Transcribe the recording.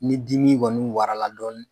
Ni dimi kɔni warala dɔni